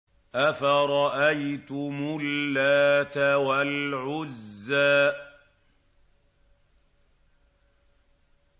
أَفَرَأَيْتُمُ اللَّاتَ وَالْعُزَّىٰ